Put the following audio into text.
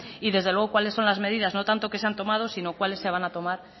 y desde luego cuáles son las medidas no tanto que se han tomado sino cuáles se van a tomar